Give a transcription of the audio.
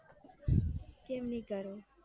કેમ નઈ કરો